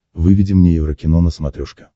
выведи мне еврокино на смотрешке